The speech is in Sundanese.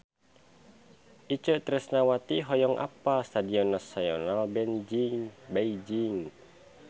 Itje Tresnawati hoyong apal Stadion Nasional Beijing